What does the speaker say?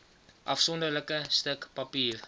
afsonderlike stuk papier